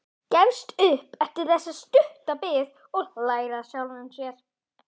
Gefst upp eftir stutta bið og hlær að sjálfum sér.